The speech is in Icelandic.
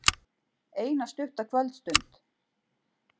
Eina stutta kvöldstund.